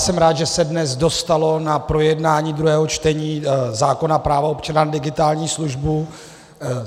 Jsem rád, že se dnes dostalo na projednání druhého čtení zákona - práva občana na digitální službu.